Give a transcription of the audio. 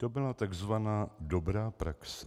To byla takzvaná dobrá praxe.